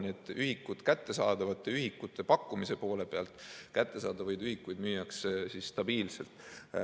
Nii et kättesaadavate ühikute pakkumise poole pealt kättesaadavaid ühikuid müüakse stabiilselt.